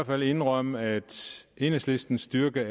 fald indrømme at enhedslistens styrke